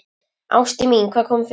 Ástin mín, hvað kom fyrir?